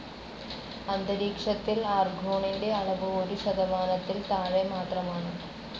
അന്തരീക്ഷത്തിൽ ആർഗോണിൻ്റെ അളവ് ഒരു ശതമാനത്തിൽ താഴെ മാത്രമാണ്.